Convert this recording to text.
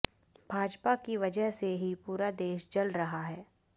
भाजपा की वजह से ही पूरा देश जल रहा है